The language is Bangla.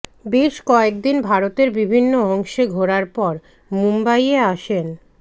বেশ কয়েকদিন ভারতের বিভিন্ন অংশে ঘোরার পর মুম্বইয়ে আসেন